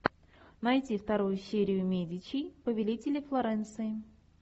найти вторую серию медичи повелители флоренции